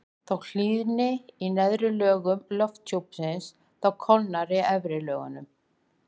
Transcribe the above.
þótt hlýni í neðri lögum lofthjúpsins þá kólnar í efri lögunum